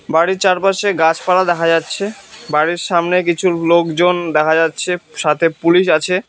বাড়ির চারপাশে গাছপালা দেখা যাচ্ছে বাড়ির সামনে কিছু লোকজন দেখা যাচ্ছে সাথে পুলিশ আছে।